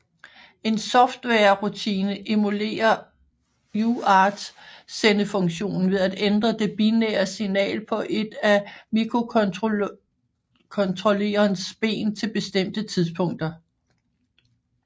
En softwarerutine emulerer UART sendefunktionen ved at ændre det binære signal på et af mikrocontrollerens ben til bestemte tidspunkter